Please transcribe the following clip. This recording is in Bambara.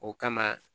O kama